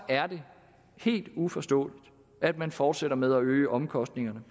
er det helt uforståeligt at man fortsætter med at øge omkostningerne